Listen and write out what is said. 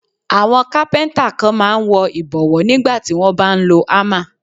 Àwọn Kápẹ́ńtà kan máa ń wọ ìbọ̀wọ́ nígbà tí wón bá ń lo ámà